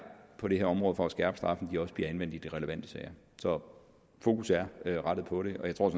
på det her område for at skærpe straffen også bliver anvendt i de relevante sager så fokus er rettet på det og jeg tror